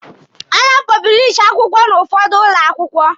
A na-apọblishi akwụkwọ n'ụfọdụ ụlọ akwụkwọ.